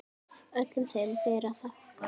Öllum þeim ber að þakka.